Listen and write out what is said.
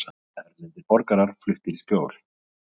Erlendir borgarar fluttir í skjól